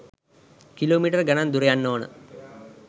Kilo metre ගනන් දුර යන්න ඕන.